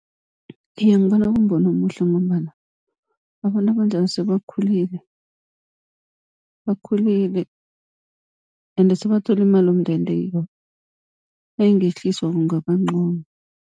Iye, ngibona kumbono omuhle, ngombana abantu abanjalo sebakhulile bakhulile, ende sebathola imali yomndende nayingehliswa kungaba ncono.